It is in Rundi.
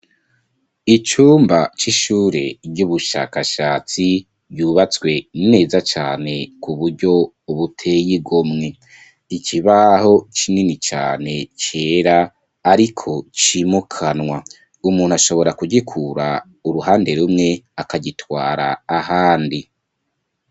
Icumba c'ishure ryubushakashatsi ryubatswe neza cane kuburyo buteye igomwe, ikibaho kinini cane cera ariko cimukanwa umuntu ashobora kugikura kuruhande rumwe akagitwara ahandi.